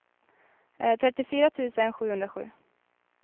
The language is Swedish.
trettiofyra tusen sjuhundrasju